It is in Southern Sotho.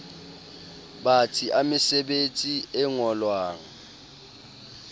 batsi a mesebetsi e ngolwang